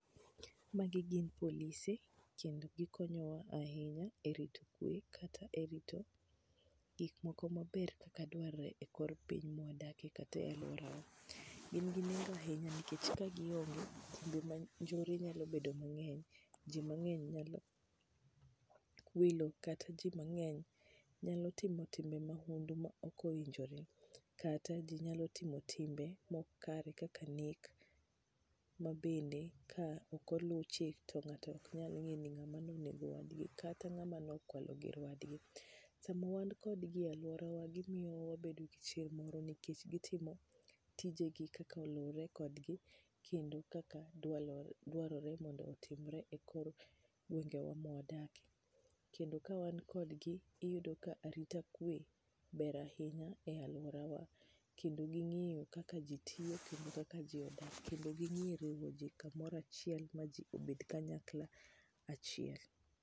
Magi gin polise kendo gikonyowa ahinya e rito kwe kendo kata rito gik moko maber kaka dwarore e kor piny mwadakie kata e aluorawa, gin ginengo ahinya nikech ka gi onge to joma njore nyalo bedo mang'eny ahinya ,ji mang'eny nyalo wilo kat ji mang'eny nyalo timo timbe mahundu ma ok owinjore kata ji nyalo timo timbe ma ok kare kaka nek bende ka ok olu chik to ngato ok nyalo ngeto ni ngama ne onego wadgi kata ngama no kwalo gir wad gi ,sama wan kodgi e aluorawa gimyo wabedo gi chir moro nikech gitimo tije gi kaka oluwore kod gi kendo kaka dwaroe mondo otimre e kor gwenge wa mawadakie ,kendo ka wan kod gi ,iyudo ka arita kwe ber ahinya e aluorawa kendo gingiyo kaka ji tiyo kendo kaka ji odak kendo ging'e riwo ji kanyakla ma ji bed kumora chiel.